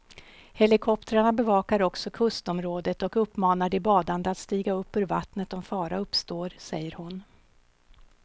Helikoptrarna bevakar också kustområdet och uppmanar de badande att stiga upp ur vattnet om fara uppstår, säger hon.